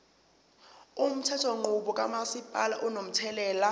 umthethonqubo kamasipala unomthelela